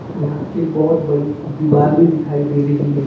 यहाँ एक बहुत बड़ी दीबार भी दिखाई दे रही है।